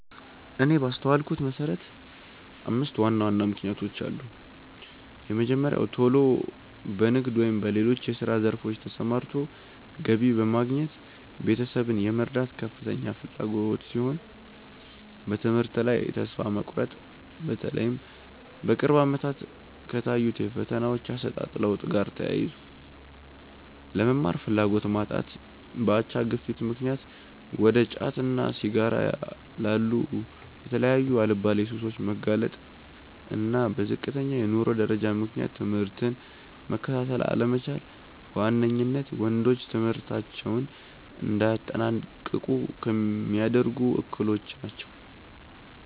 እኔ ባስተዋልኩት መሰረት አምስት ዋና ዋና ምክንያቶች አሉ። የመጀመሪያው ቶሎ በንግድ ወይም በሌሎች የስራ ዘርፎች ተሰማርቶ ገቢ በማግኘት ቤተሰብን የመርዳት ከፍተኛ ፍላጎት ሲሆን፤ በትምህርት ላይ ተስፋ መቁረጥ(በተለይም በቅርብ አመታት ከታዩት የፈተናዎች አሰጣጥ ለውጥ ጋር ተያይዞ)፣ ለመማር ፍላጎት ማጣት፣ በአቻ ግፊት ምክንያት እንደ ጫትና ሲጋራ ላሉ የተለያዩ አልባሌ ሱሶች መጋለጥ፣ እና በዝቅተኛ የኑሮ ደረጃ ምክንያት ትምህርትን መከታተል አለመቻል በዋነኝነት ወንዶች ትምህርታቸውን እንዳያጠናቅቁ ሚያደርጉ እክሎች ናቸው።